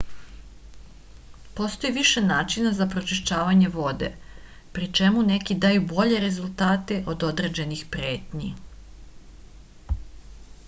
postoji više načina za prečišćavanje vode pri čemu neki daju bolje rezultate od određenih pretnji